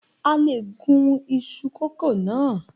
A lè gún isu kókò na.